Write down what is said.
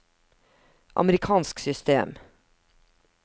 amerikansk system